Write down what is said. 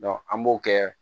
an b'o kɛ